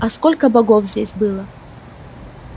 а сколько богов здесь было